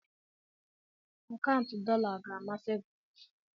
akaụntụ dollar ga-amasị gị?